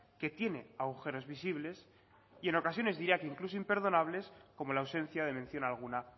que tiene agujeros visibles y en ocasiones diría que incluso imperdonables como la ausencia de mención alguna